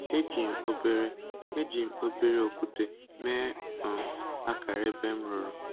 Eji m obere Eji m obere okwute mee um akara ebe m rụrụ